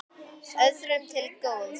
Öðrum til góðs.